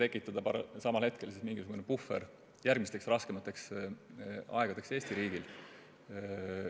Võib-olla saaks samal ajal tekitada mingisuguse puhvri järgmisteks raskemateks aegadeks Eestis.